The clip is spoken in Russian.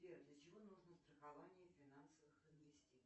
сбер для чего нужно страхование финансовых инвестиций